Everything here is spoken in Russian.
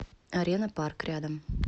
арена парк рядом